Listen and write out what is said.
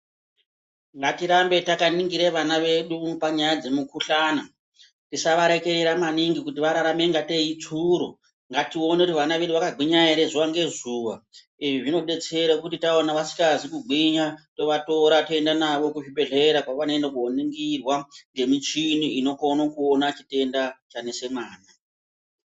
Ngatirambe takaningire vana wedu panyaya dzemukuhlana. Tisawarekera maningi kuti wararame ingateyi ichuuro. Ngatione kuti vana wedu wakagwinya ere zuva ngezuva. Izvi zvinodetsera kuti taona wasikazi kugwinya, towatora toenda nawo kuzvibhedhlera kwewanoenda koningirwa ngemichini inokone kuona chitenda chanesa mwana.